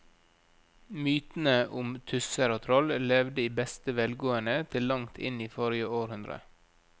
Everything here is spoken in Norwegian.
Mytene om tusser og troll levde i beste velgående til langt inn i forrige århundre.